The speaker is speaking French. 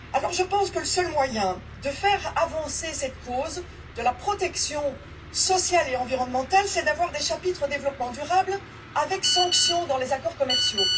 Je pense que le seul moyen de faire avancer cette cause de la protection sociale et environnementale, c'est d'avoir des chapitres développement durable avec sanctions dans les accords commerciaux.